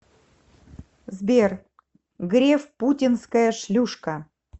сбер греф путинская шлюшка